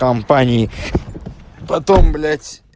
компании потом блять